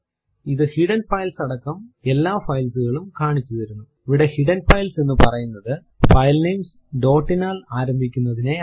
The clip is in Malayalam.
ഇത് ഹിഡൻ ഫൈൽസ് അടക്കം എല്ലാ files കളും കാണിച്ചു തരുന്നുഇവിടെ ഹിഡൻ ഫൈൽസ് എന്ന് പറയുന്നതു ഫൈല്നേംസ് ഡോട്ട് നാൽ ആരംഭിക്കുന്നതിനെയാണ്